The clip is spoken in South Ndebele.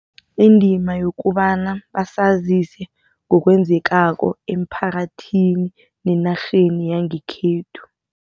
Indima yokobana basazise ngokwenzekako emphakathini nenarheni yangekhethu.